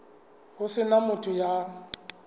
ho se na motho ya